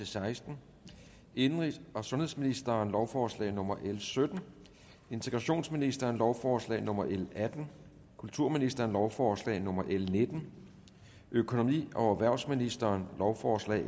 seksten indenrigs og sundhedsministeren lovforslag nummer l sytten integrationsministeren lovforslag nummer l atten kulturministeren lovforslag nummer l nitten økonomi og erhvervsministeren lovforslag